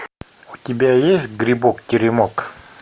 у тебя есть грибок теремок